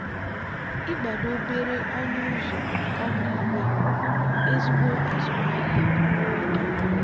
ịgbado obere ọnụ ụzọ ámá ígwè bụ ezigbo azụmahịa nwa oge.